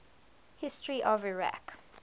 history of iraq